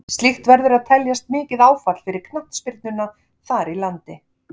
Slíkt verður að teljast mikið áfall fyrir knattspyrnuna þar í landi.